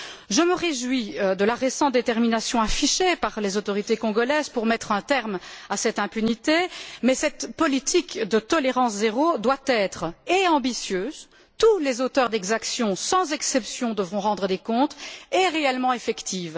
Je me réjouis de la récente détermination affichée par les autorités congolaises pour mettre un terme à cette impunité, mais cette politique de tolérance zéro doit être ambitieuse tous les auteurs d'exaction, sans exception, devront rendre des comptes et réellement effective.